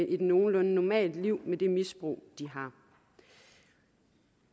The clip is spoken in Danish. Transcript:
et nogenlunde normalt liv med det misbrug de har